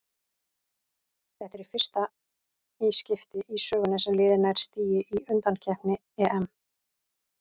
Þetta er fyrsta í skipti í sögunni sem liðið nær stigi í undankeppni EM.